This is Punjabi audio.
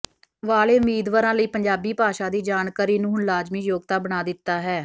ਵਾਲੇ ਉਮੀਦਵਾਰਾਂ ਲਈ ਪੰਜਾਬੀ ਭਾਸ਼ਾ ਦੀ ਜਾਣਕਾਰੀ ਨੂੰ ਹੁਣ ਲਾਜ਼ਮੀ ਯੋਗਤਾ ਬਣਾ ਦਿੱਤਾ ਹੈ